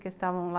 Que estavam lá